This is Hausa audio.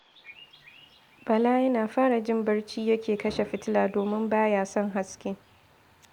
Bala yana fara jin barci yake kashe fitila, domin ba ya son haske